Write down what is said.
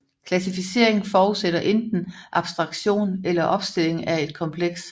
Klassificering forudsætter enten abstraktion eller opstilling af et kompleks